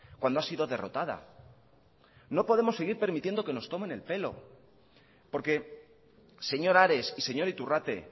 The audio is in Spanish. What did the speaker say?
cuando ha sido derrotada no podemos seguir permitiendo que nos tomen el pelo porque señor ares y señor iturrate